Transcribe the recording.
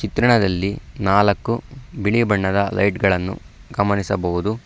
ಚಿತ್ರಣದಲ್ಲಿ ನಾಲಕ್ಕು ಬಿಳಿ ಬಣ್ಣದ ಲೈಟ್ ಗಳನ್ನು ಗಮನಿಸಬಹುದು.